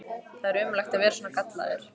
Það er ömurlegt að vera svona gallaður!